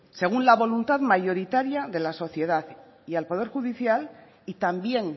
según la voluntad mayoritaria de la sociedad y al poder judicial y también